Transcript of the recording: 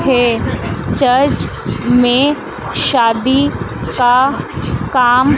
हे church में शादी का काम--